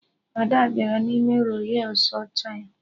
Ada bịara n'ime Rols Rọys ọcha ya